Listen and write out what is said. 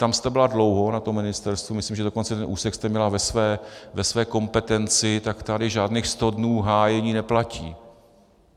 Tam jste byla dlouho, na tom ministerstvu, myslím, že dokonce ten úsek jste měla ve své kompetenci, tak tady žádných sto dnů hájení neplatí.